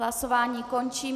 Hlasování končím.